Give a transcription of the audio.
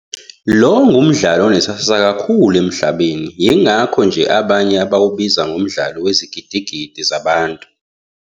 Lo ngumdlalo onesasasa kakhulu emhlabeni, yingakho nje aabanye bawubiza ngomdlalo wezigidigidi zabantu.